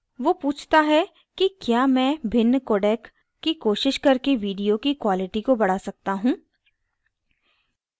वो पूछता है कि he मैं भिन्न codec की कोशिश करके video की quality को बड़ा सकता he